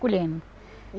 colhendo.